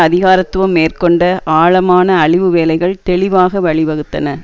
அதிகாரத்துவம் மேற்கொண்ட ஆழமான அழிவு வேலைகள் தெளிவாக வழிவகுத்தன